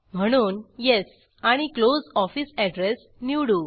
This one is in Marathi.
म्हणून येस आणि क्लोज ऑफिस एड्रेस निवडू